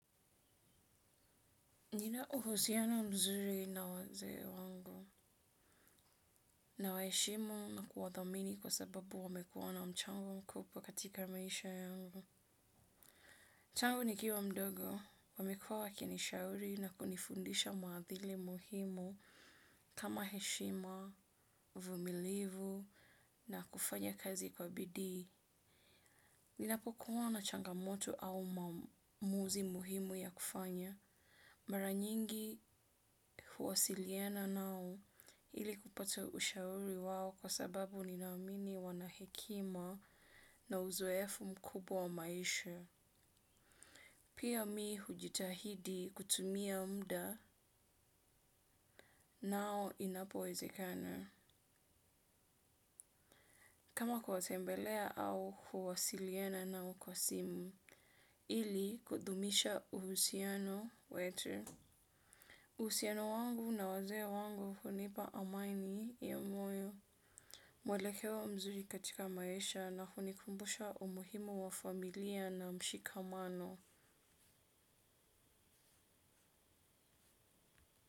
Nina uhusiano mzuri na wazee wangu nawaheshimu na kuwathamini kwa sababu wamekuwa na mchango mkubwa katika maisha yangu. Tangu nikiwa mdogo, wamekuwa wakinishauri na kunifundisha maadili muhimu kama heshima, uvumilivu na kufanya kazi kwa bidii. Ninapo kuwa na changamoto au maamuzi muhimu ya kufanya. Mara nyingi huwasiliana nao ili kupata ushauri wao kwa sababu ninaamini wana hekima na uzoefu mkubwa wa maisha. Pia mi hujitahidi kutumia mda nao inapowezekana. Kama kuwatembelea au huwasiliana nao kwa simu ili kudumisha uhusiano wetu. Uhusiano wangu na wazee wangu hunipa amani ya moyo. Mwelekeo mzuri katika maisha na kunikumbusha umuhimo wa familia na mshikamano.